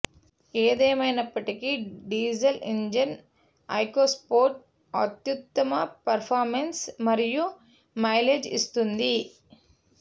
ఏదేమైనప్పటికీ diesel engine EcoSport అత్యుత్తమ performance మరియు మైలేజ్ ఇస్తుంది